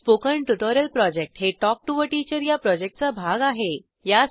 spoken tutorial project हे talk to teacher या प्रॉजेक्टचा भाग आहे